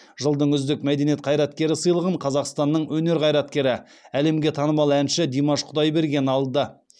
жылдың үздік мәдениет қайраткері сыйлығын қазақстанның өнер қайраткері әлемге танымал әнші димаш құдайберген алды